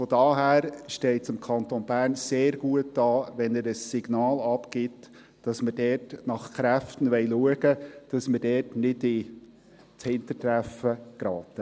Daher steht es dem Kanton Bern sehr gut an, wenn er ein Signal aussendet, wonach wir dort nach Kräften schauen wollen, dass wir dort nicht ins Hintertreffen geraten.